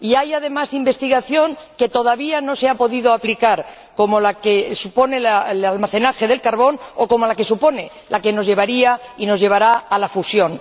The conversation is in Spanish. Y hay, además, investigación que todavía no se ha podido aplicar, como la que supone el almacenaje del carbón, o como la que supone la que nos llevaría y nos llevará a la fusión.